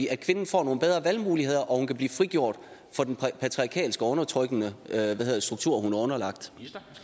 at kvinden får nogle bedre valgmuligheder og at hun kan blive frigjort fra den patriarkalske og undertrykkende struktur hun er underlagt